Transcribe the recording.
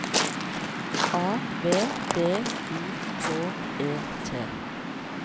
A V D U K E T